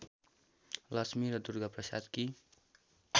लक्ष्मी र दुर्गाप्रसादकी